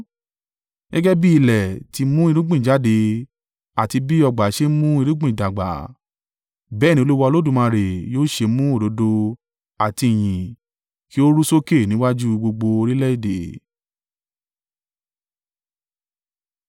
Gẹ́gẹ́ bí ilẹ̀ ti í mú irúgbìn jáde àti bí ọgbà ṣe ń mú irúgbìn dàgbà, bẹ́ẹ̀ ni Olúwa Olódùmarè yóò ṣe mú òdodo àti ìyìn kí ó ru sókè níwájú gbogbo orílẹ̀-èdè.